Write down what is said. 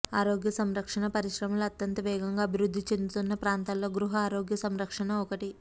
ఆరోగ్య సంరక్షణ పరిశ్రమలో అత్యంత వేగంగా అభివృద్ధి చెందుతున్న ప్రాంతాల్లో గృహ ఆరోగ్య సంరక్షణ ఒకటి